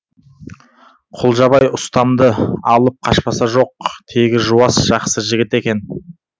құлжабай ұстамды алып қашпасы жоқ тегі жуас жақсы жігіт екен